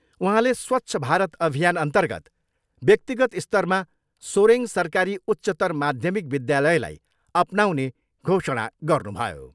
उहाँले स्वच्छ भारत अभियानअन्तर्गत व्यक्तिगत स्तरमा सोरेङ सरकारी उच्चत्तर माध्यमिक विद्यालयलाई अपनाउने घोषणा गर्नुभयो।